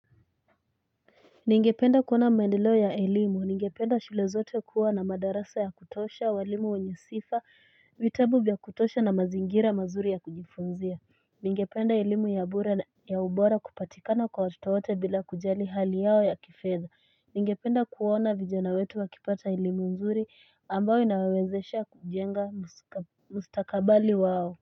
Ningependa kuona maendeleo ya elimu, ningependa shule zote kuwa na madarasa ya kutosha, walimu wenye sifa, vitabu vya kutosha na mazingira mazuri ya kujifunzia Ningependa elimu ya ubora kupatikana kwa watoto wote bila kujali hali yao ya kifedha Ningependa kuona vijana wetu wakipata elimu nzuri ambayo inawawezesha kujenga mustakabali wao.